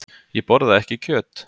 Ég borða ekki kjöt.